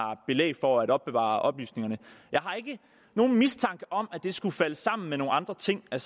var belæg for at opbevare oplysningerne jeg har ikke nogen mistanke om at det skulle falde sammen med nogen andre ting jeg